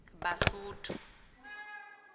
basotho